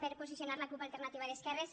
per posicionar la cup alternativa d’esquerres